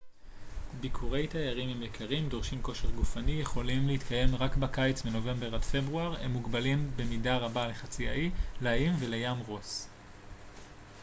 ביקורי תיירים הם יקרים דורשים כושר גופני יכולים להתקיים רק בקיץ מנובמבר עד פברואר והם מוגבלים במידה רבה לחצי האי לאיים ולים רוס